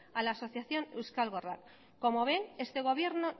a la asociación euskal gorrak como ven este gobierno